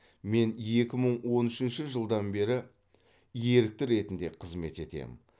мен екі мың он үшінші жылдан бері ерікті ретінде қызмет етемін